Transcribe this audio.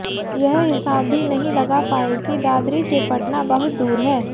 यह हिसाब भी नहीं लगा पाए कि दादरी से पटना बहुत दूर है